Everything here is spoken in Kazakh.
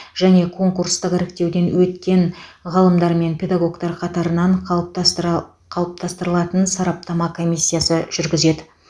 және конкурстық іріктеуден өткен ғалымдар мен педагогтар қатарынан қалыптастыра қалыптастырылатын сараптама комиссиясы жүргізеді